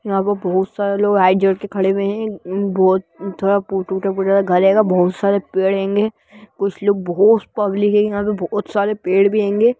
यहां पर बहुत सारे लोग हाथ जोड़कर करे हुए है बहुत थोड़ा टूटा-फूटा घर हैगा बहुत सारे पेड़ हेेंगे कुछ लोग बहोत पब्लिक है बहुत सारे पेड़ भी हेेंगै--